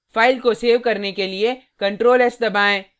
file को save करने के लिए ctrl + s दबाएँ